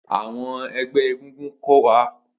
Awọn ẹgbẹ egungun ko wa.